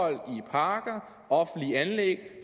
i parker offentlige anlæg